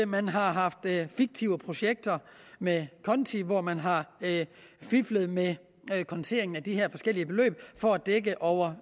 man har haft fiktive projekter med konti hvor man har fiflet med konteringen af de her forskellige beløb for at dække over